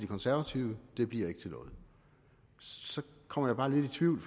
konservative det bliver ikke til noget så kommer jeg bare lidt i tvivl